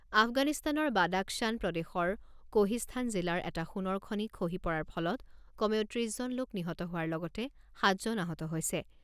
আফগানিস্তানৰ বাদাখশ্বান প্ৰদেশৰ কোহিস্থান জিলাৰ এটা সোণৰ খনি খহি পৰাৰ ফলত কমেও ত্ৰিছ জন লোক নিহত হোৱাৰ লগতে সাত জন আহত হৈছে।